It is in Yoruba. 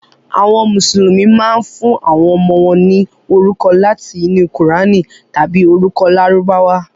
Àwọn Mùsùlùmí máa ń fún àwọn ọmọ wọn ní orúkọ láti inú Kùránì tàbí orúkọ Lárúbáwá.